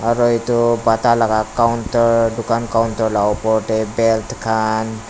aro edu bata laka counter dukan counter la opor tae belt kan--